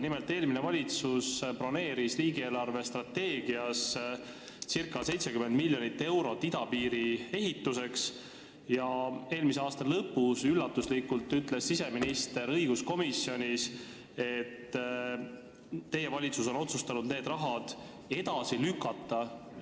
Nimelt, eelmine valitsus broneeris riigi eelarvestrateegias circa 70 miljonit eurot idapiiri ehituseks ja eelmise aasta lõpus ütles siseminister õiguskomisjonis üllatuslikult, et teie valitsus on otsustanud selle raha kasutamise edasi lükata.